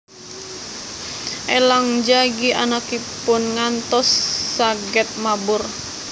Elang njagi anakipun ngantos saged mabur